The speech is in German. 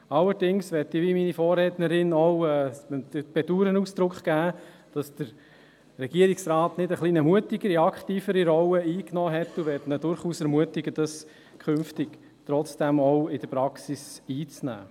Allerdings möchte ich – wie meine Vorrednerin auch – dem Bedauern Ausdruck geben, dass der Regierungsrat nicht eine etwas mutigere und aktivere Rolle eingenommen hat, und möchte ihn durchaus ermutigen, eine solche künftig trotzdem auch in der Praxis einzunehmen.